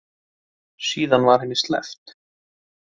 Síðan var henni sleppt.